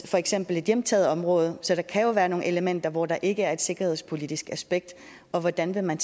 for eksempel et hjemtaget område så der kan jo være nogle elementer hvor der ikke er et sikkerhedspolitisk aspekt hvordan vil man